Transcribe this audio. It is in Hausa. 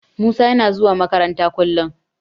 Musa yana zuwa makaranta kullum.